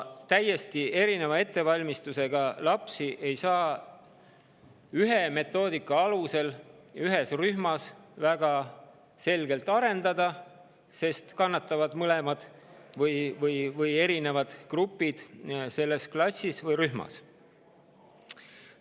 Täiesti erineva ettevalmistusega lapsi ei saa arendada ühes rühmas ja metoodika alusel, sest siis kannatavad mõlemad või erinevad grupid selles klassis või rühmas.